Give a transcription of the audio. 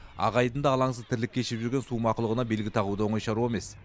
ақ айдында алаңсыз тірлік кешіп жүрген су мақұлығына белгі тағу да оңай шаруа емес